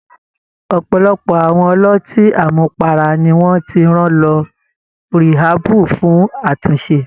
Ọ̀pọ̀lọpọ̀ àwọn ọlọ́tí àmupara ni wọ́n ti rán lọ ríhábù fún àtúnṣe.